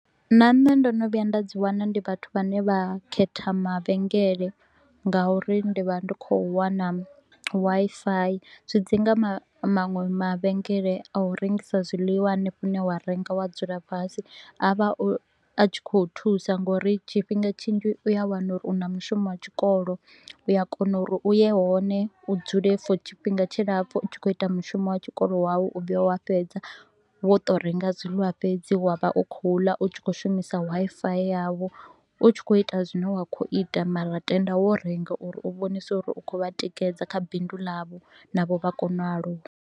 Na nṋe ndo no vhuya nda dzi wana ndi vhathu vhane vha khetha mavhenngele nga uri ndi vha ndi kho u wana Wi-Fi. Zwi dzi nga maṅwe mavhenngele a u rengisa zwiḽiwa hanefho hune wa renga wa dzula fhasi. A vha a tshi kho u thusa nga uri tshifhinga tshinzhi u ya wana uri u na mushumo wa tshikolo, u a kona uri u ye hone, u dzule for tshifhinga tshilapfu u tshi kho u ita mushumo wa tshikolo wau u vhuya wa fhedza. Wo to u renga zwiḽiwa fhedzi wa vha u kho u ḽa u tshi kho u shumisa Wi-Fi yau, u tshi kho u ita zwine wa kho u ita mara tenda wo renga u ri u vhonise u ri u kho u vha tikedza kha bindu ḽavho navho vha kone u aluwa.